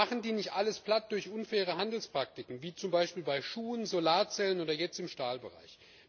Machen die nicht alles platt durch unfaire Handelspraktiken wie zum Beispiel bei Schuhen, Solarzellen oder jetzt im Stahlbereich?